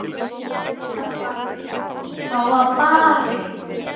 Það var barið.